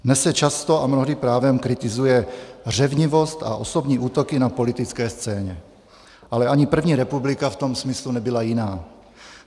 Dnes se často, a mnohdy právem, kritizuje řevnivost a osobní útoky na politické scéně, ale ani první republika v tom smyslu nebyla jiná.